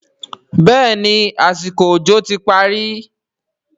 béèni àsìkò òjò ti parí.